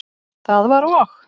Það var og?